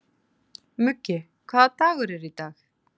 Muggi, hvaða dagur er í dag?